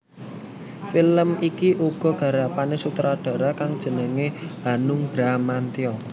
Film iki uga garapané sutradara kang jenengé Hanung Bramantyo